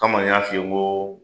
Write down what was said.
Kama n y'a f'i ye ko